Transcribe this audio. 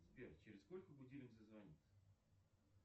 сбер через сколько будильник зазвонит